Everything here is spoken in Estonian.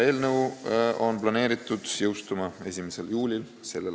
Eelnõu on planeeritud seadusena jõustuma 1. juulil s.